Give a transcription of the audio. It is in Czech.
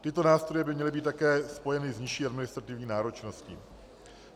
Tyto nástroje by měly být také spojeny s nižší administrativní náročností.